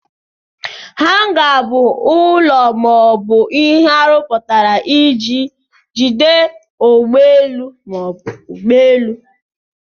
Hanga bụ ụlọ ma ọ bụ ihe arụpụtara iji jide ụgbọelu ma ọ bụ ụgbọelu.